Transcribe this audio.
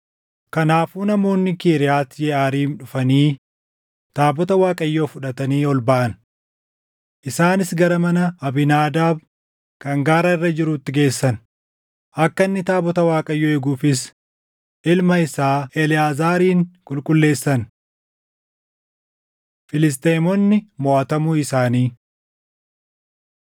Kanaafuu namoonni Kiriyaati Yeʼaariim dhufanii taabota Waaqayyoo fudhatanii ol baʼan. Isaanis gara mana Abiinaadaab kan gaara irra jiruutti geessan; akka inni taabota Waaqayyoo eeguufis ilma isaa Eleʼaazaarin qulqulleessan. Filisxeemonni Moʼatamuu Isaanii